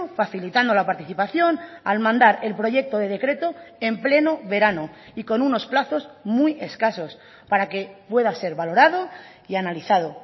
facilitando la participación al mandar el proyecto de decreto en pleno verano y con unos plazos muy escasos para que pueda ser valorado y analizado